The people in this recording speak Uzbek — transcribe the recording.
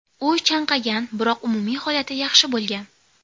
U chanqagan, biroq umumiy holati yaxshi bo‘lgan.